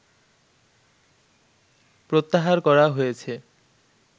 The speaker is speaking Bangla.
প্রত্যাহার করা হয়েছে